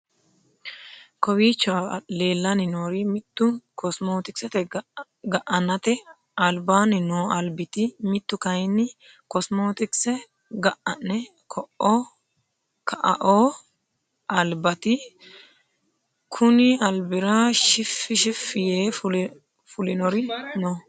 Kowiicho leelani noori mittu kosomotikise ga'anate alibaani noo alibati mittu kayiini kosomotikise ga'ane ka'aoo alibati kunni alibira shifi shifi yee fulori no.